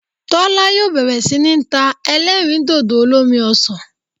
Tólá yóò bèrè sí ní ta elérìndòdò olómi osàn